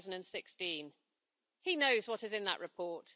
2016. He knows what is in that report.